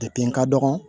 Depi n ka dɔgɔn